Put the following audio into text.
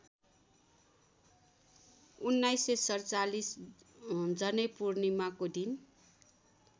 १९४७ जनैपूर्णिमाको दिन